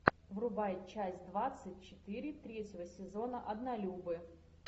врубай часть двадцать четыре третьего сезона однолюбы